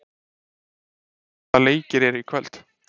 Bjössi, hvaða leikir eru í kvöld?